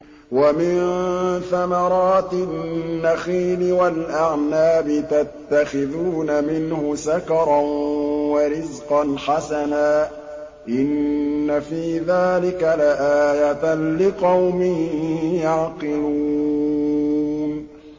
وَمِن ثَمَرَاتِ النَّخِيلِ وَالْأَعْنَابِ تَتَّخِذُونَ مِنْهُ سَكَرًا وَرِزْقًا حَسَنًا ۗ إِنَّ فِي ذَٰلِكَ لَآيَةً لِّقَوْمٍ يَعْقِلُونَ